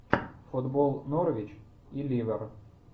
футбол норвич и ливер